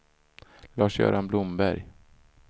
Lars-Göran Blomberg